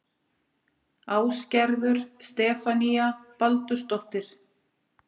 Ásgerður Stefanía Baldursdóttir